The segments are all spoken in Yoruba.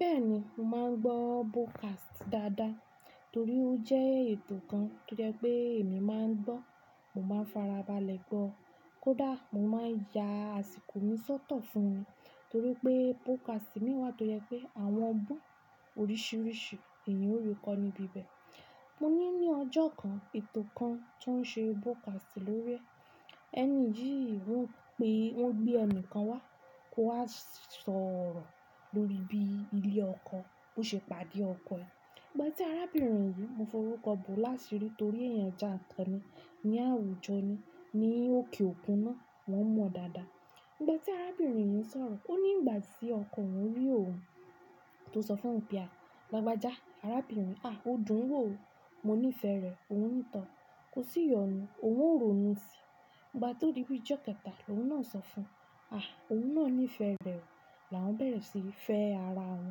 Bẹ́ẹ̀ni, mò ń gbọ́ broadcast dáadáa torí ó jẹ́ ètò kan tó jẹ́ pé èmi máa ń gbọ́. Mo máa farabalẹ̀ gbọ́. Kódà mo máa ya àsìkò mi sọ́tọ̀ fún ni torí pé broadcast mìíràn tó jẹ́ pé àwọn bú òrisìírísìí èèyàn ó rí kó níbí ibẹ̀. Mo ní ní ọjọ́ kan, ètò kan tó ń ṣe broadcast lórí ẹ́, ẹni yìí wípé ó gbé ẹni kan wá kó wá sọ̀rọ̀ lórí bí ilé ọkọ bó ṣe pàdé ọkọ ẹ̀. Ìgbà tí arábìnrin yìí, mo fi orúkọ Bọ́lá sí rí torí èèyàn jẹ́ àkanní ní àwùjọ ni, ní òkè òkun náà wọ́n mọ̀ dáadáa. Ìgbà tí arábìnrin yìí ń sọ̀rọ̀, ó ní ìgbà tí ọkọ òun rí òun tó sọ fún òun pe á. Lágbájá arábìnrin, "à! Ó dùn ún wò ó, mo nífẹ̀ẹ́ rẹ̀." Òun nítan, kò sì yọnu, òun wò rórun sí i. Ìgbà tó dí bí i ọjọ́ kẹta ọ́wọ́ náà sọ fún un, "à! Òun náà nífẹ̀ẹ́ rẹ̀ o." Làwọn bẹ̀rẹ̀ sí í fẹ́ ara wọn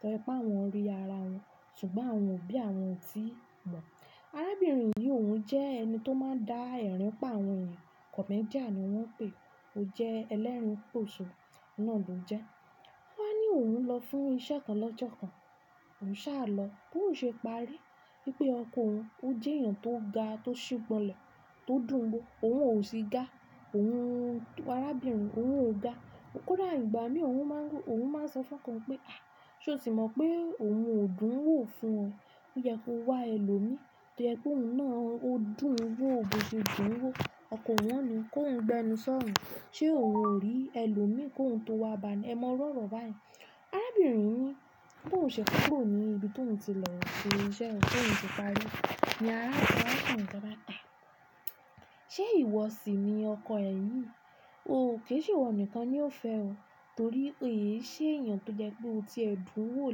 torí pé àwọn rí ara wọn ṣùgbọ́n àwọn ò bí àwọn ò tíì mọ̀. Arábìnrin yìí, òun jẹ́ ẹni tó máa ń dá ẹ̀rín pà àwọn èèyàn, comedian ni wọ́n ń pè é, ó jẹ́ ẹlẹ́rùn pòṣò, o ná lo jẹ. Wọ́n á ní òun lọ fún iṣẹ́ kan lọ́jọ́ kan, òun sá lọ bó ṣe parí. Wípé ọkọ òun, ó jẹ́ èèyàn tó ga, tó ṣubọlẹ̀, tó dùn ún wó. Òun ò sì ga. Òun arábìnrin, òun ò ga. Kódà ìgbà mìí òun máa ń rú, òun máa ń sọ fún ọkọ rẹ̀ pé, "à! Sé o ti mọ̀ pé òun ò dùn ún wò fún ọ? Ó yẹ kó wá ẹlòmíí. Ó yẹ kó òun náà ó dùn ún wò bó ṣe dùn ún wò." òkò ò ní kó wù gbénú sóún se ó wù orí elémí kò wù tó wà bá nìí èmo irú òrò báyìí. Arábìnrin yìí, "bó ṣe kó rò ó ní ibi tó ń ti lọ ṣe iṣẹ́ rẹ tí òun ti parí, ni ará arákùnrin kan báta. Sé ìwọ sì ni ọkọ ẹ yìí? Ó kò se ìwo nnkan ni o fé o torí ó se eyan to jé pe o te dùwò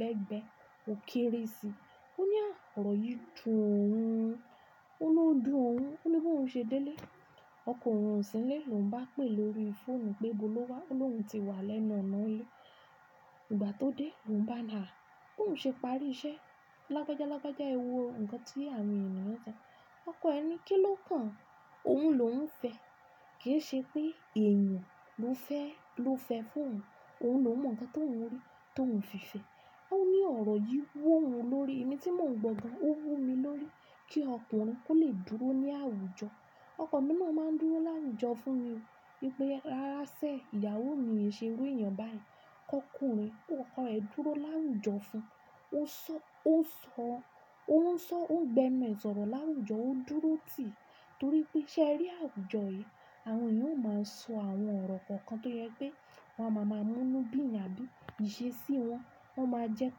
légbè, ó kárí sí ó ní a àrọ̀ yìí dun òun, ó ló dùn òun. Ó ní bó ṣe délé, ọkọ òun ò sílé lọ́ùn bá pè lórí fóònù pé gbóló wá, o lóhùn ti wá lẹ́nu ọ̀nà ilé. Ìgbà tó dé ló wù gbà ní a, bó wù se pàré isé Lágbájá lágbájá, e wo ǹkan tí àwọn èèyàn so. Ọkọ ẹ̀ ni kí ló kan? Òun ló wù fẹ́. Kì í ṣe pé èèyàn ló fẹ́, ló fẹ́ fún òun. Òun ló mọ ǹkan tó wù rí, tó wù fi fẹ́. Ó ní ọ̀rọ̀ yìí wò ó lórí, èmi tí mò ń gbọ́ ga ó wò mí lórí kí ọkùnrin kó lè dúró ní àwùjọ. Ọkọ mi náà máa ń dúró láwùjọ fún mi. Wípé rárá sé, ìyàwó mi è ṣe rí èèyàn báyìí. Kọ ọkùnrin, kó ọkọ rẹ̀ dúró láwùjọ fún un. Ó ń sọ, ó ń sọ, ó ń sò o gbénú è sòrò láwùjo, ó dúró tì torí pé se rè àwùjo ye. Àwọn èèyàn ó máa ń sọ àwọn ọ̀rọ̀ kọ̀ọ̀kan tó jẹ́ pé wọ́n á máa mú inú bí yan àbí ìṣe sí wọn. Wọ́n máa jẹ́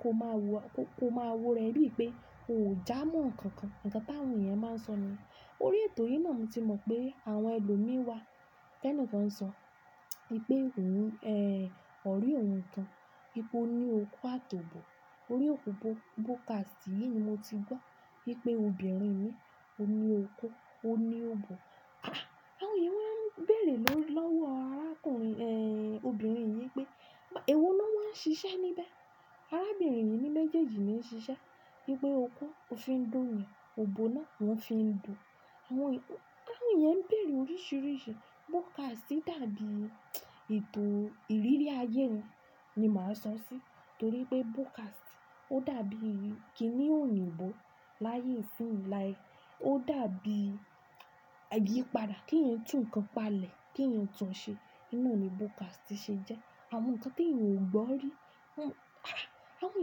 kó máa wò, kó máa wo rẹ bí i pé o ò jámọ̀ ǹkan kan. Ǹkan táwọn èèyàn máa ń sọ ni. Lórí ètò yìí náà mo ti mọ̀ pé àwọn ẹlòmíí wà tẹ́ni kan ń sọ. Wípé òun, ẹ́, ọ̀ re òun kan, wípé ó ní okú àti òbò. Órí okù broadcast yìí ni mo ti gbọ́ wípé obìnrin ní ó ní okú, ó ní òbò. Ah! Àwọn èèyàn wọ́n bẹ̀rẹ̀ lọ́wọ́ arákùnrin, ẹ́, obìnrin yìí pé, "èwo lọ́wọ́ ń ṣiṣẹ́ níbẹ̀?" Arábìnrin yìí ní méjèèjì ni ó ń ṣiṣẹ́. Wípé okú ó fi ń dùn yẹn, òbò náà ó fi ń dùn. Àwọn èè, àwọn èèyàn ń bẹ̀rù oríṣiríṣi broadcast. Ó dàbí ètò ìrírí ayé ni, ni màá sọ sí i torí pé broadcast ó dàbí kini oyinbo laye isin like o dabi ayipada, ki eeyan tu nkan pale kí èèyàn tunṣe òun nani podcast ṣe jẹ́. Àwọn ǹkan tí èèyàn ò gbọ́ rí. Ah! Àwọn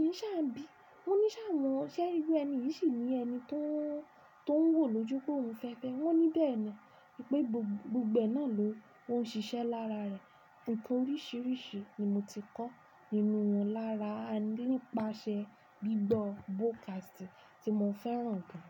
èèyàn sá ń bi, wọ́n ní sá won sé iru ẹni yìí sì ni ẹni tó ń, tó ń wò lójú pé òun fẹ́ fẹ́. Wọ́n ní bẹ́ẹ̀ni wípé gbogbo gbẹ náà ló ń ṣiṣẹ́ lára rẹ̀. Ǹkan oríṣiríṣi ni mo ti kọ́ nínú won lára nípasẹ̀ gbígbọ́ podcast tí mò fẹ́ràn gan.